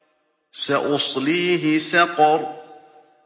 سَأُصْلِيهِ سَقَرَ